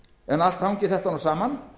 en allt hangir þetta saman